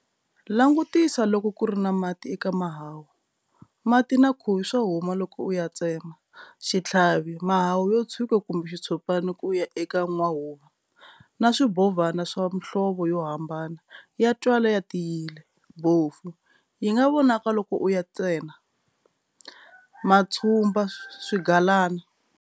Langutisa loko ku ri na mati eka mahahu, mati na khuvi swa huma loko u ya tsema, xitlhavi, mahahu yo tshuka kumbe xitshopana ku ya eka n'wahuva, na swimbhovana swa mhlovo yo hambana, ya twala ya tiyile, bofu, yi nga vonaka loko u ya tsena, matshumba, swigalana.